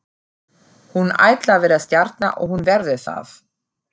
Hún ætlar að verða stjarna og hún verður það.